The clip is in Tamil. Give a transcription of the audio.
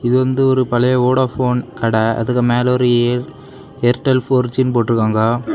இது வந்து ஒரு பழைய வோடபோன் கடை அதுக்கு மேல ஒரு ஏர்டெல் போர் ஜி போட்டு இருக்காங்க.